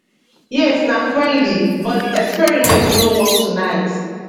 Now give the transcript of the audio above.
yes na friendly but di experiment no work tonight